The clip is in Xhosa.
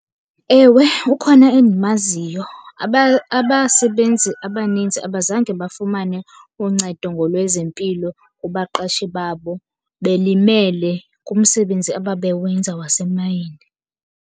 Ewe, ukhona endimaziyo. Abasebenzi abaninzi abazange bafumane uncedo ngolwezempilo kubaqeshi babo belimele kumsebenzi ababe wenzani wasemayine